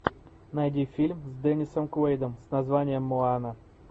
найди фильм с деннисом куэйдом с названием моана